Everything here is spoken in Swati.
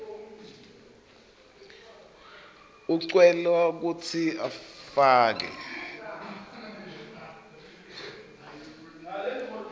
ucelwa kutsi ufake